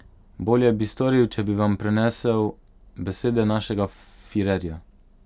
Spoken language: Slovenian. Bolje bi storil, če bi vam prenesel besede našega firerja.